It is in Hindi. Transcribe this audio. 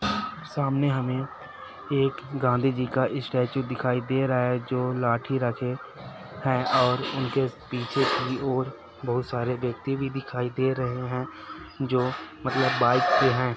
सामने हमें एक गाँधी जी का स्टेचू दिखाई दे रहा है जो लाठी रखे है और उनके पीछे की ओर बहुत सारे व्यक्ति भी दिखाई दे रहे है जो मतलब के है।